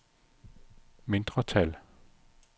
mindretal